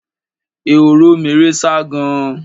ehoro meré sá gan-an.